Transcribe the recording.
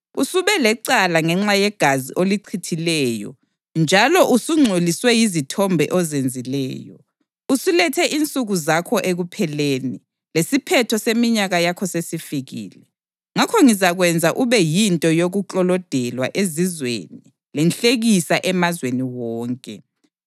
usube lecala ngenxa yegazi olichithileyo njalo usungcoliswe yizithombe ozenzileyo. Usulethe insuku zakho ekupheleni, lesiphetho seminyaka yakho sesifikile. Ngakho ngizakwenza ube yinto yokuklolodelwa ezizweni lenhlekisa emazweni wonke.